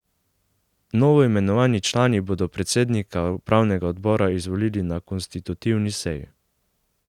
Novoimenovani člani bodo predsednika upravnega odbora izvolili na konstitutivni seji.